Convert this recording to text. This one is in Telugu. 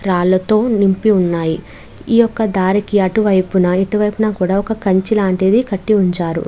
రాళ్ళతో నింపి వున్నాయ్ ఈ ఒక దరికి అటు వైపున ఇటు వైపున ఒక కంచె లాంటిది కూడా కట్టి ఉంచారు.